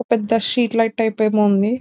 పెద్ద street light type ఏమో ఉంది --